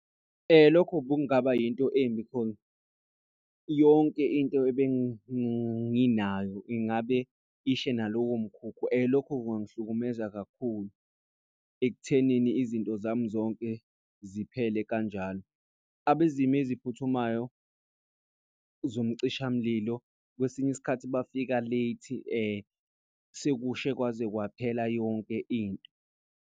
Lokho bekungaba into embi khona yonke into ebenginayo, ingabe ishe nalowo mkhukhu lokho kungangihlukumeza kakhulu ekuthenini izinto zami zonke ziphele kanjalo. Abezimo eziphuthumayo, zomcishamlilo kwesinye isikhathi bafika late sekushe kwaze kwaphela yonke into.